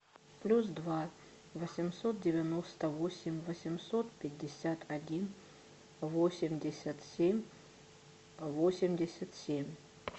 плюс два восемьсот девяносто восемь восемьсот пятьдесят один восемьдесят семь восемьдесят семь